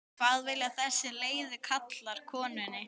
hvað vilja þessir leiðu karlar konunni?